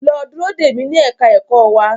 Lọ dúró dè mi ní ẹ̀ka ẹ̀kọ́ wa.